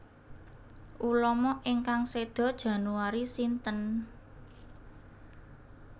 Ulama ingkang sedo Januari sinten